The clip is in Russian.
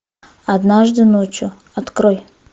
однажды ночью открой